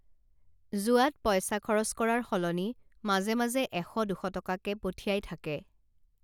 যোৱাত পইচা খৰচ কৰাৰ সলনি মাজে মাজে এশ দুশ টকাকে পঠাই থাকে